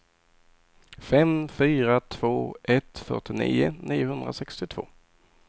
fem fyra två ett fyrtionio niohundrasextiotvå